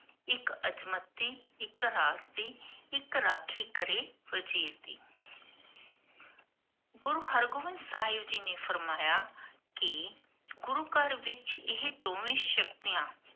ਇਕ ਅਦ੍ਮਤ ਦੀ, ਇਕ ਰਾਖ ਦੀ, ਇਕ ਰਾਖੀ ਕਰੇ ਵਜੀਰ ਦੀ ਗੁਰੂ ਹਰ੍ਗੋਵਿੰਦ ਸਾਹਿਬ ਜੀ ਨੇ ਫਰਮਾਇਆ ਕੀ ਗੁਰੂ ਘਰ ਵਿਚ ਇਹ ਦੋਵੇਂ ਸ਼ਕਤੀਆਂ